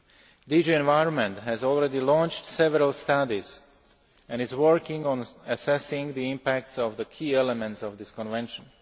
The Environment DG has already launched several studies and is working on assessing the impacts of the key elements of the Convention.